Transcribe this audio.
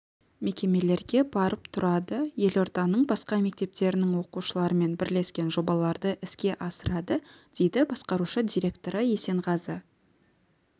мекемелерге барып тұрады елорданың басқа мектептерінің оқушыларымен бірлескен жобаларды іске асырады дейді басқарушы директоры есенғазы